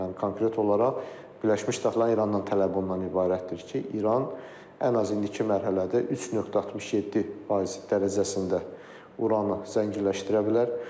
Yəni konkret olaraq Birləşmiş Ştatların İranndan tələbi bundan ibarətdir ki, İran ən azı indiki mərhələdə 3.67% dərəcəsində uranı zənginləşdirə bilər.